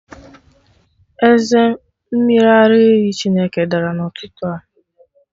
Eze mmiri ara ehi Chineke dara n'ụtụtụ a